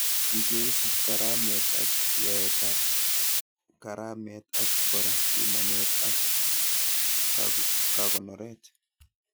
Chu cheisub karamet ak yaetab karamet, ak kora pimanet ak kakonoret